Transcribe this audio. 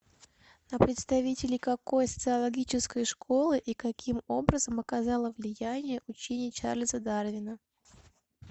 на представителей какой социологической школы и каким образом оказало влияние учение чарльза дарвина